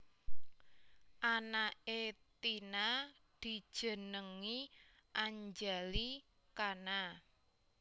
Anake Tina dijenengi Anjali Khana